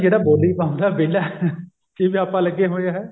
ਜਿਹੜਾ ਬੋਲੀ ਪਾਉਂਦਾ ਉਹ ਵਿਹਲਾ ਜਿਵੇਂ ਆਪਾਂ ਲੱਗੇ ਹੋਏ ਆ ਹੈਂ